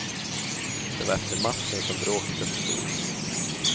Det var efter matchen som bråket uppstod.